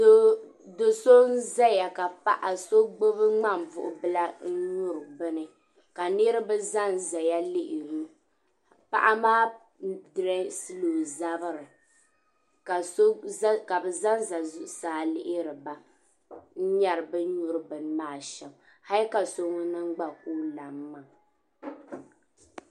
Do so n zaya ka paɣa so gbubi ŋmanbuɣubila n nyuri komi ka niribi zanzaya n lihiri o ka paɣa maa direesi o zabiri ka bɛ zanza zuɣu saa lihiri ba n nyari bin nyuri bini maa shɛm hali ka so ŋun niŋ gba ka o lam maa.